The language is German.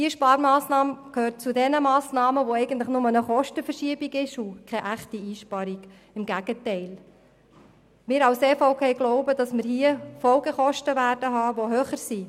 Diese Sparmassnahme gehört zu den Sparmassnahmen, die eigentlich nur eine Kostenverschiebung bewirken und keine echte Einsparung bedeuten – im Gegenteil: Die EVP glaubt, dass die durch die Massnahme ausgelösten Folgekosten höher sein werden.